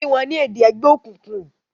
kí wón ni èdè ègbé òkùnkùn!